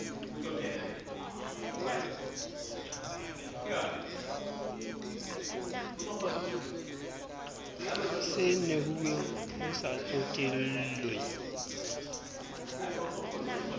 se nehuweng ho sa tsotellwe